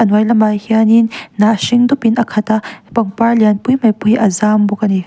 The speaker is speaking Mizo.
a hnuai lamah hianin hnah hring dup in a khat a pangpar lian pui mai pawh hi a zam bawk ani.